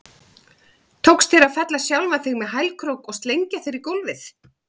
Tókst þér að fella sjálfan þig með hælkrók og slengja þér í gólfið?